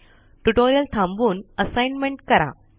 tutorial थांबवून assignment करा